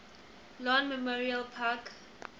lawn memorial park